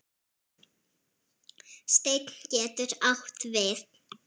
Steinn getur átt við